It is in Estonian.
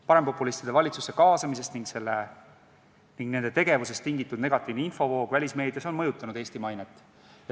Parempopulistide valitsusse kaasamisest ning nende tegevusest tulenenud negatiivne infovoog välismeedias on mõjutanud Eesti mainet.